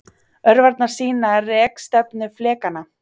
Örvarnar sýna rekstefnu flekanna.